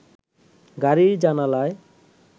গাড়ির জানালায়